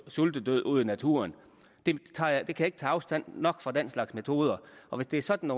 sultedød ude i naturen jeg kan ikke tage afstand nok fra den slags metoder og hvis det er sådan